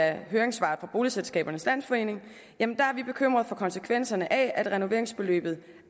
af høringssvaret fra boligselskabernes landsforening bekymrede for konsekvenserne af at renoveringsbeløbet